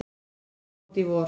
sem kom út í vor.